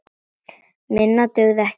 Minna dugði ekki til.